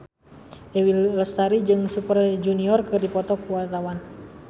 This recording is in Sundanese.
Dewi Lestari jeung Super Junior keur dipoto ku wartawan